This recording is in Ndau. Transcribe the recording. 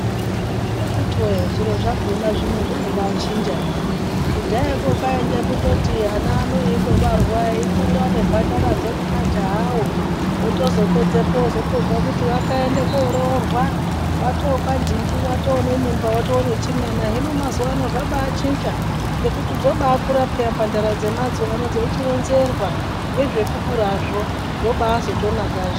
Akiti woye zviro zvakona zvino zvinobachinjana kudhayako kwainge kundoti ana ano eindobarwa eikura nemhandaradzo nemajahawo otozopedzepo ozotozwe kuti wakaende koororwa watokwanhingi watonemimba watonechimwana hino mazuwa ano zvabaachinja ngekuti dzobaakura peya mhandara dzemazuwa ano dzechironzerwa ngezvekukurazvo zvoba azotonakazve.